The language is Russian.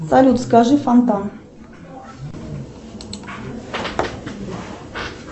салют скажи фонтан